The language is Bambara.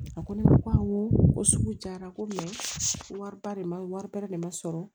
A ko ne ko awɔ ko sugu jara ko mɛ ko waribara wari bɛrɛ de ma sɔrɔ